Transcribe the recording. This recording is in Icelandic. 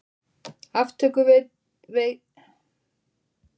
Aftökusveit eða fangelsi?